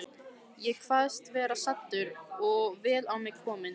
Ég kvaðst vera saddur og vel á mig kominn.